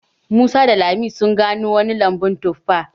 Musa da lami sun gano wani lambun tuffa